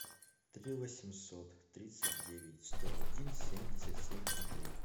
три восемьсот тридцать девять сто один семьдесят семь ноль три